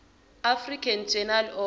african journal of